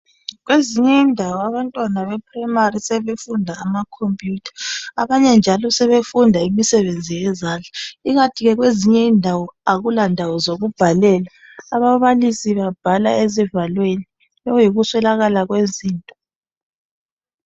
Kwezinye indawo abantwana be primary sebefunda amacomputer, abanye njalo sebefunda imisebenzi yezandla. Ikanti ke kwezinye indawo akula ndawo zokubhalela, ababalisi babhala ezivalweni, sekuyikuswelakala kwezinto.